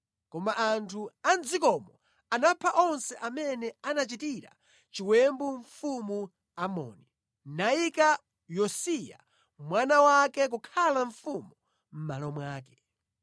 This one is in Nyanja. Koma anthu a mʼdzikomo anapha onse amene anachitira chiwembu Mfumu Amoni, nayika Yosiya mwana wake kukhala mfumu mʼmalo mwake.